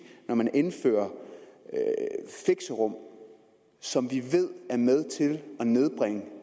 når man indfører fixerum som vi ved er med til at nedbringe